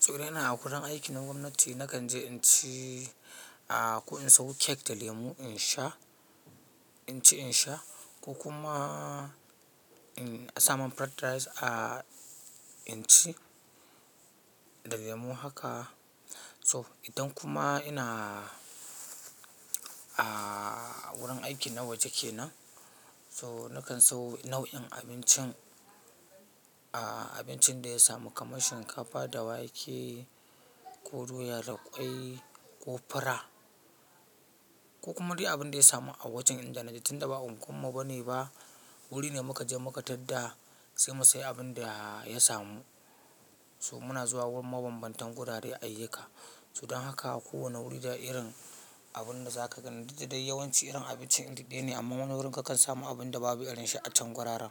Tsurena a wurin aiki na gwamnati nakan je inci a ko in sawo cake da lemu insha, in ci in sha ko kuma in sami fried rice a inci da lemu haka. So, idan kuma ina a wurin aiki na waje kenan so, nakan sawo nau'in abincin, abincin da ya samu kamar shinkafa da wake ko doya da ƙwai ko fura ko kuma dai abin da ya samu a wajen. Inda na je tun da ba unguwar mu bane ba, wuri ne muka je muka tarda sai mu sayi abin da ya samu. So muna zuwa wurin mabambantan gurare ayyika. So idan haka a kowane wuri da irin abunda zaka gani duk da dai yawanci irin abincin ɗaya ne amma wani wurin kakan samu abunda babu irinshi a can guraren.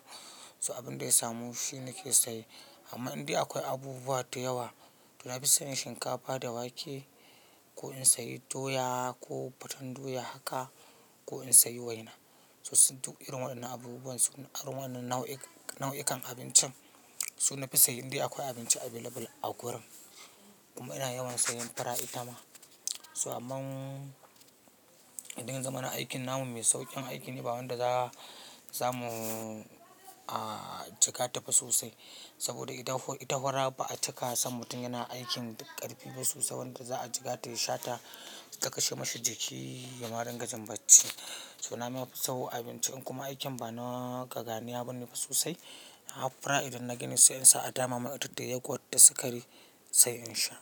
So abin da ya samu shi nake saye amma indai akwai abubuwa da yawa to nafison shinkafa da wake ko in sayi doya ko fatan doya haka ko in sayi waina. So su duk irin waɗannan abubuwan su na waɗannan nau'ikan abincin su nafi saye indai akwai abinci available a wurin. Kuma ina yawan sayan fara itama. So aman idan yazamana aikin namu mai sauƙin aiki ne ba wanda za'a samu a jikata ba sosai saboda ita hura baa cika san mutum yana aikin ƙarfi ba sosai wanda za'a jiƙata ya shata ta kashe mahi jiki yama ringa jin bacci. So na mafi so abinci in kuma aikin ba na kaganiya bane ba sosai ina haɓa fura idan na ginu sai in sa a dama mai adadu da yagwat da sikari sayi insha.